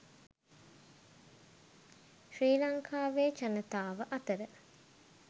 ශ්‍රී ලංකාවේ ජනතාව අතර